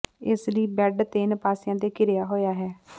ਇਸ ਲਈ ਬੈੱਡ ਤਿੰਨ ਪਾਸਿਆਂ ਤੇ ਘਿਰਿਆ ਹੋਇਆ ਹੈ